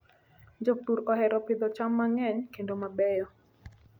Jopur ohero pidho cham mang'eny kendo mabeyo.